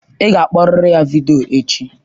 Ị ga-akpọrịrị ya vidiyo echi!